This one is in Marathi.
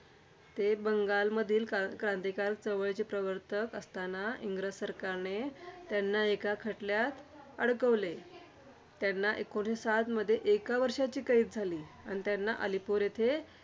ते बंगालमधील क्रां क्रांतिकारक चळवळीचे प्रवर्तक असताना, इंग्रज सरकारने त्यांना एका खटल्यात अडकवले. त्यांना एकोणीसशे सातमध्ये एका वर्षाची कैद झाली. आणि त्यांना अलिपूर येथे